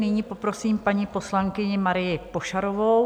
Nyní poprosím paní poslankyni Marii Pošarovou.